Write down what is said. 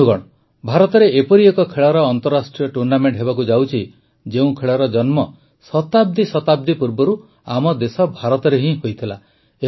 ବନ୍ଧୁଗଣ ଭାରତରେ ଏପରି ଏକ ଖେଳର ଅନ୍ତରାଷ୍ଟ୍ରୀୟ ଟୁର୍ଣ୍ଣାମେଂଟ ହେବାକୁ ଯାଉଛି ଯେଉଁ ଖେଳର ଜନ୍ମ ଶତାବ୍ଦୀ ଶତାବ୍ଦୀ ପୂର୍ବରୁ ଆମ ଦେଶ ଭାରତରେ ହିଁ ହୋଇଥିଲା